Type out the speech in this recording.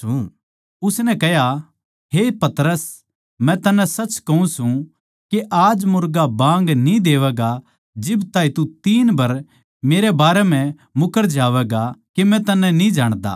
उसनै कह्या हे पतरस मै तन्नै सच कहूँ सूं के आज मुर्गा बाँग न्ही देवैगा जब ताहीं तू तीन बर मेरै बारे म्ह मुकरैगा जावैगा के मै तन्नै न्ही जाण्दा